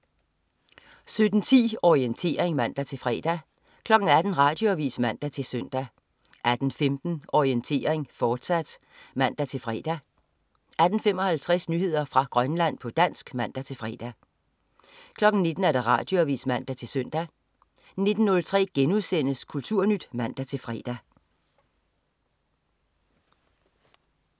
17.10 Orientering (man-fre) 18.00 Radioavis (man-søn) 18.15 Orientering, fortsat (man-fre) 18.55 Nyheder fra Grønland, på dansk (man-fre) 19.00 Radioavis (man-søn) 19.03 Kulturnyt* (man-fre)